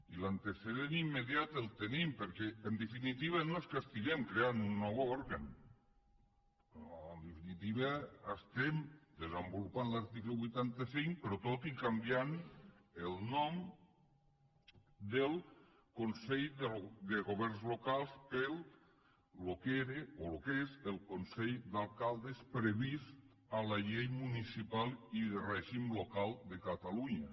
i l’antecedent immediat el tenim perquè en definitiva no es que estiguem creant un nou òrgan en definitiva estem desenvolupant l’article vuitanta cinc però tot i canviant el nom del consell de governs locals pel que era o el que és el consell d’alcaldes previst en la llei municipal i de règim local de catalunya